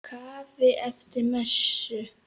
Kaffi eftir messu.